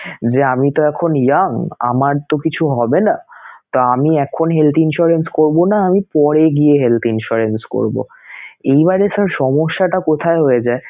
যে আমি তো এখন young, আমার তো কিছু হবেনাতো আমি এখন health insurance করবো না, আমি পরে গিয়ে health insurance করবো